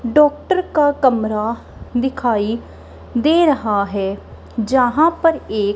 doctor का कमरा दिखाई दे रहा है जहां पर एक--